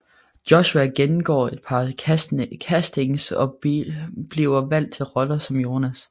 Joshua gennemgår et par castings og bliver valgt til rollen som Jonas